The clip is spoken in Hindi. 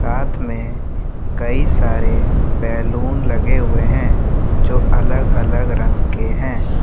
साथ में कई सारे बैलून लगे हुए हैं जो अलग अलग रंग के हैं ।